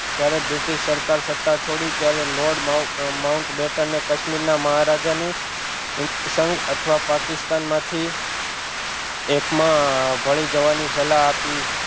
જ્યારે બ્રિટિશ સરકાર સતા છોડી ત્યારે લોર્ડ માઉટ માઉટ બેટને કાશ્મીર ના મહારાજા ને હિન્દ સંઘ અથવા પાકિસ્તાન માંથી એક માં ભળી જવાની સલાહ આપી